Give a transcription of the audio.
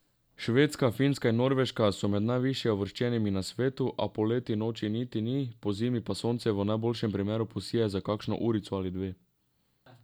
Švedska, Finska in Norveška so med najviše uvrščenimi na svetu, a poleti noči niti ni, pozimi pa sonce v najboljšem primeru posije za kakšno urico ali dve.